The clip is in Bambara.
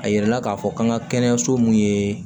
A yirala k'a fɔ k'an ka kɛnɛyaso mun ye